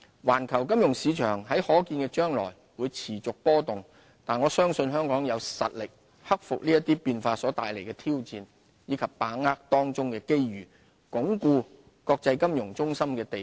環球金融市場在可見的將來會持續波動，但我相信香港有實力克服這些變化所帶來的挑戰，以及把握當中的機遇，鞏固國際金融中心的地位。